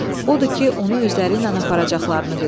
Odur ki, onu özləri ilə aparacaqlarını bildirdilər.